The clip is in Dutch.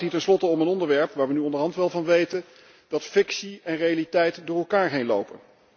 Het gaat hier tenslotte om een onderwerp waar we nu onderhand wel van weten dat fictie en realiteit door elkaar heen lopen.